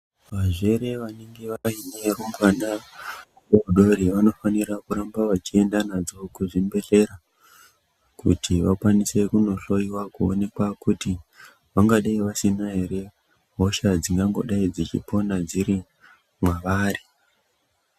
Vazvere vanenge vaine varumbwana vadodori vanofanira kuramba vechienda nadzo kuzvibhendlera kuti vakwanise kunohloiwa kuonekwa kuti vangadai vasina ere hosha dzingangodai dzichipona dziri mwavari.